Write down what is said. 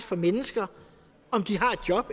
for mennesker om de har et job